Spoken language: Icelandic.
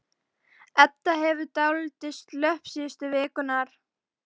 Edda hefur verið dálítið slöpp síðustu vikurnar.